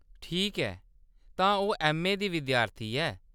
ठीक ऐ, तां ओह्‌‌ ऐम्मए दी विद्यार्थी ऐ।